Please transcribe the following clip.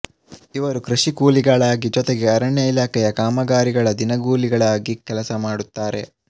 ಇವರು ಕೃಷಿ ಕೂಲಿಗಳಾಗಿ ಜೊತೆಗೆ ಅರಣ್ಯ ಇಲಾಖೆಯ ಕಾಮಗಾರಿಗಳ ದಿನಗೂಲಿಗಳಾಗಿ ಕೆಲಸ ಮಾಡುತ್ತಾರೆ